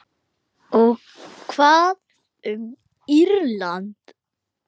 Og hvað um Írland?